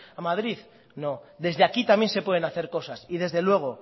a madrid no desde aquí también se pueden hacer cosas y desde luego